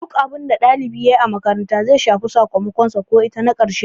Duk abinda ɗalibi yayi a makaranta zai shafe sakamakon sa ko ita na karshe